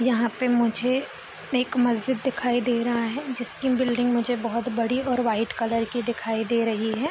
यहाँ पर मुझे एक मस्जिद दिखाई दे रहा है जिसके बिल्डिंग मुझे बहुत बड़ी और वाइट कलर की दिखाई दे रही है।